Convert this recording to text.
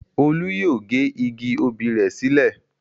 Olú yóò gé igi obì rẹ̀ sílẹ̀.